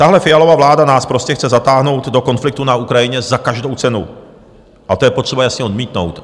Tahle Fialova vláda nás prostě chce zatáhnout do konfliktu na Ukrajině za každou cenu a to je potřeba jasně odmítnout.